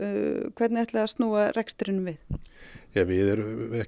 hvernig ætlið þið að snúa rekstrinum við við